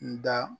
N da